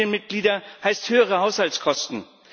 Mehr Familienmitglieder heißt höhere Haushaltskosten.